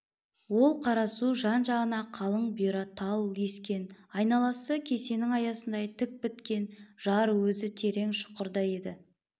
ол қара су жан-жағына қалын бұйра тал ескен айналасы кесенің аясындай тік біткен жар өзі терең шұқырда еді